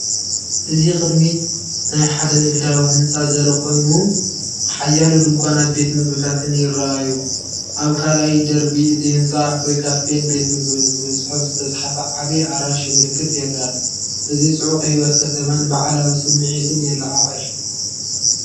እዚ ቅድሚት ናይ ሓደ ንግዳዊ ህንጻ ዘርኢ ኮይኑ፡ ሓያሎ ድኳናትን ቤት መግብታትን ይርኣዩ። ኣብ ካልኣይ ደርቢ እቲ ህንጻ "ኣፍሮይ ካፌን ቤት መግቢን" ዝብል ጽሑፍ ዝተጻሕፈ ዓቢይ ኣራንሺ ምልክት ይርአ። እዚ ጽዑቕ ህይወት ከተማን በዓላዊ ስሚዒትን የለዓዕል።